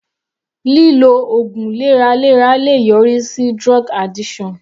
Lílo ògùn lẹ́ra lẹ́ra le yọrí sí drug addiction.